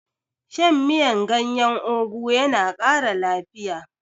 Shan miyan gyanyen ogu yana kara lafiya